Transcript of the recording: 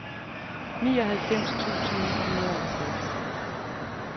nioghalvfems tusind ni hundrede og tres